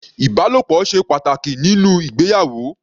Ìbálòpọ̀ ṣe pàtàkì nínú ìgbéyàwó.